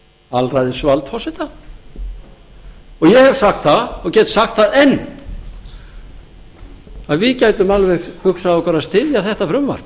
alræðisvald forseta ég hef sagt það og get sagt það enn að við gætum alveg eins hugsað okkur að styðja þetta frumvarp